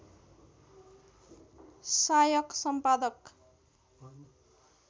सायक सम्पादक